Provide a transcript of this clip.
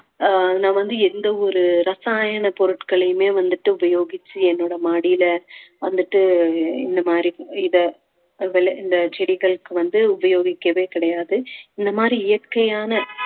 ஆஹ் நான் வந்து எந்த ஒரு ரசாயன பொருட்களையுமே வந்துட்டு உபயோகிச்சு என்னோட மாடியில வந்துட்டு இந்த மாதிரி இத முதல இந்த செடிகளுக்கு வந்து உபயோகிக்கவே கிடையாது இந்த மாதிரி இயற்கையான